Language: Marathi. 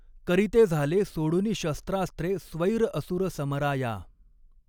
करिते झाले सोडुनि शस्त्रास्त्रे स्वैर असुर समरा या।